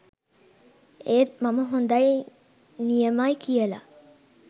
ඒත් මම හොඳයි නියමයි කියලා